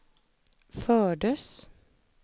fördes